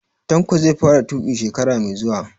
Tanko zai fara tuƙi shekara mai zuwa